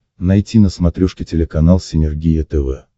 найти на смотрешке телеканал синергия тв